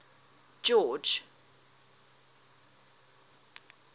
george